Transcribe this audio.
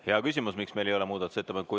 Hea küsimus, miks meil ei ole muudatusettepanekuid.